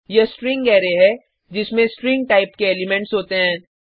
यह string array है जिसमें स्ट्रिंग टाइप के एलिमेंट्स होते हैं